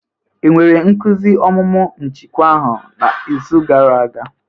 E nwere nkuzi ọmụmụ njikwa ahụ n'izu gara aga?